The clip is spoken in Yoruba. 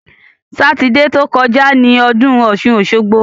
Sátidé ti ó kọjá ni ọdún ọ̀ṣun-òṣogbo.